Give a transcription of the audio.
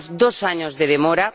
Llevamos dos años de demora